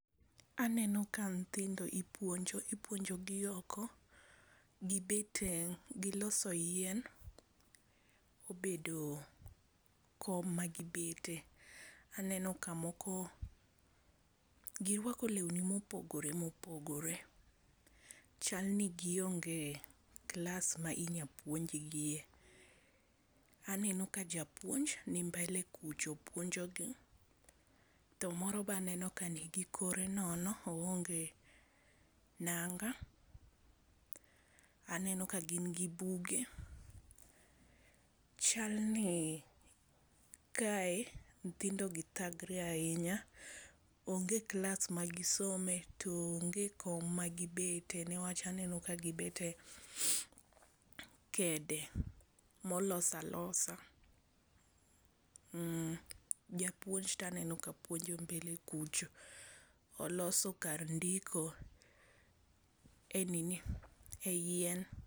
Aneno ka nyithindo ipuonjo, ipuonjo gi oko gi loso yien obedo kom ma gi bete, aneno ka moko gi rwako lweni ma opogore opogore, chal ni gi onge klas ma inya puonj gi e.Aneno ka jauonj ni mbele kucho puonjo gi, to moro be aneno ka ni gi kore nono oonge nanga aneno ka gin gi buge chal ni kae nyithindo gi sandre ahinya ,onge klas ma gi some, to onge kom ma gi bete nikech gi bet e kede ma olos alosa japuonj to aneno ka puonjo mbele kucho oloso kar ndiko e nini, e yien.